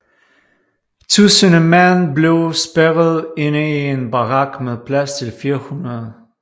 Tusinde mand blev spærret inde i en barak med plads til 400